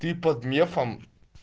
ты под мефом